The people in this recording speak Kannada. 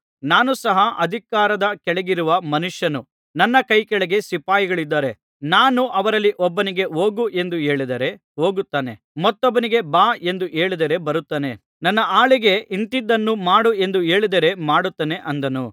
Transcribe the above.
ನಾನು ಸಹ ಅಧಿಕಾರದ ಕೆಳಗಿರುವ ಮನುಷ್ಯನು ನನ್ನ ಕೈಕೆಳಗೆ ಸಿಪಾಯಿಗಳಿದ್ದಾರೆ ನಾನು ಅವರಲ್ಲಿ ಒಬ್ಬನಿಗೆ ಹೋಗು ಎಂದು ಹೇಳಿದರೆ ಹೋಗುತ್ತಾನೆ ಮತ್ತೊಬ್ಬನಿಗೆ ಬಾ ಎಂದು ಹೇಳಿದರೆ ಬರುತ್ತಾನೆ ನನ್ನ ಆಳಿಗೆ ಇಂಥಿಂಥದ್ದನ್ನು ಮಾಡು ಎಂದು ಹೇಳಿದರೆ ಮಾಡುತ್ತಾನೆ ಅಂದನು